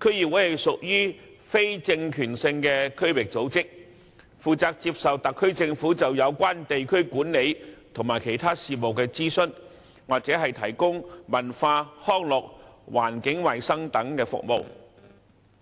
區議會屬於非政權性的區域組織，接受特區政府就有關地區管理和其他事務的諮詢，或負責提供文化、康樂、環境衞生等服務。